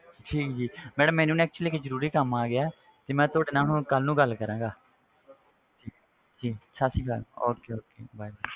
ਠੀਕ ਜੀ madam ਮੈਨੂੰ ਨਾ ਇੱਕ ਜ਼ਰੂਰੀ ਕੰਮ ਆ ਗਿਆ ਤੇ ਮੈਂ ਤੁਹਾਡੇ ਨਾਲ ਹੁਣ ਕੱਲ੍ਹ ਨੂੰ ਗੱਲ ਕਰਾਂਗਾ ਜੀ ਸਤਿ ਸ੍ਰੀ ਅਕਾਲ okay okay bye